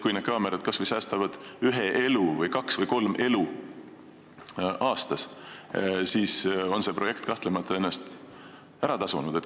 Kui need kaamerad säästavad kas või ühe elu või kaks-kolm elu aastas, siis on see projekt kahtlemata ennast ära tasunud.